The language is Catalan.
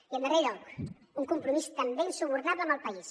i en darrer lloc un compromís també insubornable amb el país